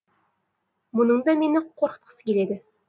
мұның да мені қорқытқысы келеді